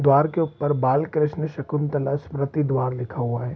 द्वार के ऊपर बालकृष्ण शकुंतला स्मृति द्वार लिखा हुआ है।